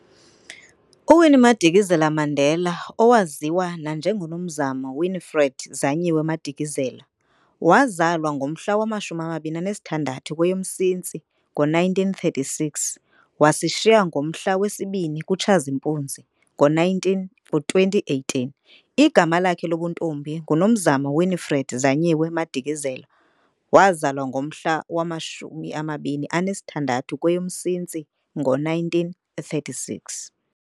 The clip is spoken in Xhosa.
U-Winnie Madikizela-Mandela, Owaziwa nanjengo-Nomzamo Winifred Zanyiwe Madikizela, wazalwa ngomhla wama-26 kweyoMsintsi ngo1936 - wasishiya ngomhla wesi-2 kuTshazimpuzi ngo2018, Igama lakhe lobuntombi ngu Nomzamo Winifred Zanyiwe Madikizela, wazalwa ngomhla wama-26 kweyoMsintsi ngo 1936.